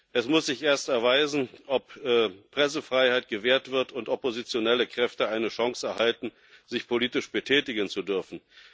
Es muss sich erst erweisen, ob Pressefreiheit gewährt wird und oppositionelle Kräfte eine Chance erhalten, sich politisch betätigen zu dürfen.